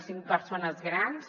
cinc persones grans